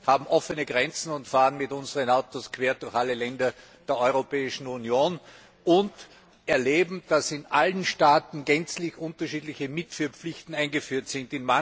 Wir haben offene Grenzen und fahren mit unseren Autos quer durch alle Länder der Europäischen Union, und wir erleben, dass in allen Staaten gänzlich unterschiedliche Mitführpflichten eingeführt sind.